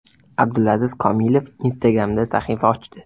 Abdulaziz Komilov Instagram’da sahifa ochdi.